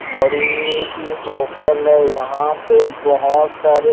बड़ी सी होटल है यहां पे बहुत सारे--